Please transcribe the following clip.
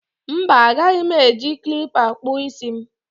Mba, agaghị m eji klippa kpụọ isi m